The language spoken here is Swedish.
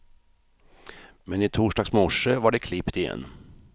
Men i torsdags morse var det klippt igen.